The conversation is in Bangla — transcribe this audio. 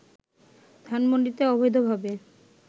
ধানমণ্ডিতে অবৈধভাবে